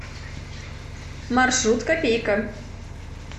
маршрут копейка